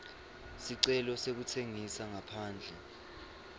sicelo sekutsengisa ngaphandle